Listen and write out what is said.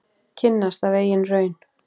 Kynnast af eigin raun.